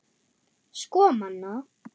Sko Manna!